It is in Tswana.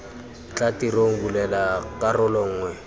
tla tirong bulela karolo nngwe